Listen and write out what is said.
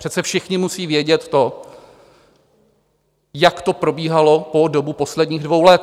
Přece všichni musí vědět to, jak to probíhalo po dobu posledních dvou let.